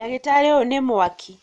Ndagĩtarĩ ũyũ nĩ mwaki